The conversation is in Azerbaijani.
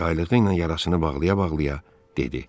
Ayaqlığı ilə yarasını bağlaya-bağlaya dedi: